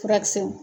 Furakisɛw